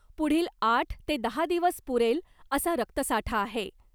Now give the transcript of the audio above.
पुढील आठ ते दहा दिवस पुरेल असा रक्तसाठा आहे .